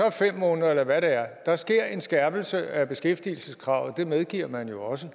er fem måneder eller hvad det er så sker der en skærpelse af beskæftigelseskravet og det medgiver man jo også